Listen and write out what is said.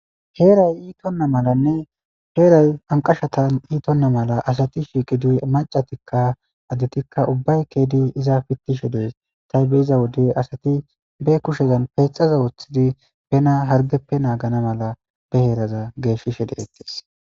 Heeray iitonna malanne heeray anqashatan iitonna mala asati shiiqi duy macatikka addetikka ubbay keedi iza pittishe dees taybe iza wodey asati be kushezan peexaza wooththidi pena hargeppe naagana mala be heeraza geeshishe deettis.